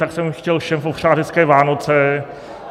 Tak jsem chtěl všem popřát hezké Vánoce.